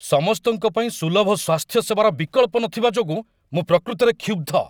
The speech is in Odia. ସମସ୍ତଙ୍କ ପାଇଁ ସୁଲଭ ସ୍ୱାସ୍ଥ୍ୟସେବାର ବିକଳ୍ପ ନଥିବା ଯୋଗୁଁ ମୁଁ ପ୍ରକୃତରେ କ୍ଷୁବ୍ଧ।